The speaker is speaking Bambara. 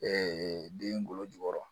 den golo jukɔrɔ